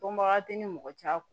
Dɔnbaga tɛ ni mɔgɔ cɛ